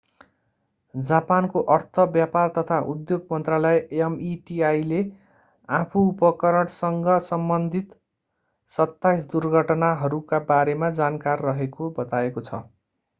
जापानको अर्थ व्यापार तथा उद्योग मन्त्रालय meti ले आफू उपकरणसँग सम्बन्धित 27 दुर्घटनाहरूका बारेमा जानकार रहेको बताएको छ।